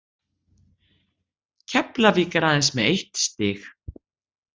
Keflavík er aðeins með eitt stig.